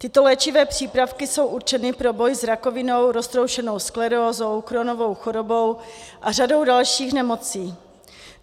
Tyto léčivé přípravky jsou určeny pro boj s rakovinou, roztroušenou sklerózou, Crohnovou chorobou a řadou dalších nemocí.